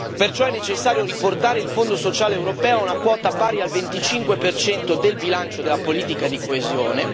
Perciò è necessario riportare il Fondo sociale europeo a una quota pari al 25 del bilancio della politica di coesione